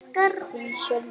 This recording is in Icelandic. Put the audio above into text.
Þinn, Sölvi Leví.